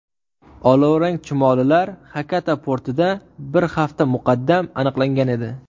Olovrang chumolilar Xakata portida bir hafta muqaddam aniqlangan edi.